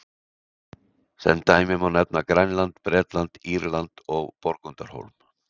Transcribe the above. Sem dæmi má nefna Grænland, Bretland, Írland og Borgundarhólm.